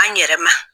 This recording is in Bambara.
An yɛrɛ ma